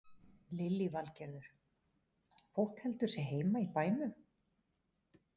Lillý Valgerður: Fólk heldur sig heima í bænum?